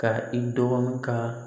Ka i dɔgɔnin ka